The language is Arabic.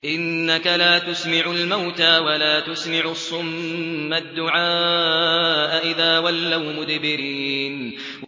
إِنَّكَ لَا تُسْمِعُ الْمَوْتَىٰ وَلَا تُسْمِعُ الصُّمَّ الدُّعَاءَ إِذَا وَلَّوْا مُدْبِرِينَ